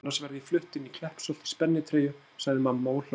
Annars verð ég flutt inn í Kleppsholt í spennitreyju sagði mamma og hló.